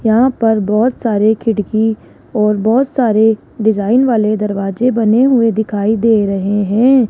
यहां पर बहुत सारे खिड़की और बहुत सारे डिजाइन वाले दरवाजे बने हुए दिखाई दे रहे हैं।